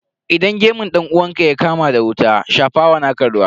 Idan gemun dan uwanka ya kama da wuta, shafa wa naka ruwa.